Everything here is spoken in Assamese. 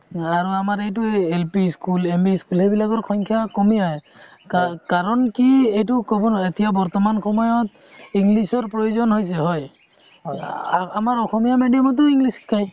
আৰু আমাৰ এইটো এই LP school MV school এইবিলাকৰ সংখ্যা কমি আহে কাৰণ কি এটো কব নোৱাৰি এতিয়া বৰ্তমান সময়ত english ৰ প্ৰয়োজন হৈছে হয় আমাৰ অসমীয়া medium তো english শিকাই